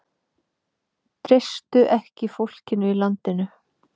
Treystu ekki fólkinu í landinu